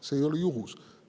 See ei ole juhus.